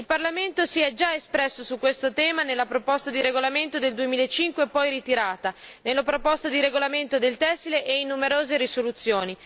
Il Parlamento si è già espresso su questo tema nella proposta di regolamento del 2005, poi ritirata, nella proposta di regolamento sui tessili e in numerose risoluzioni.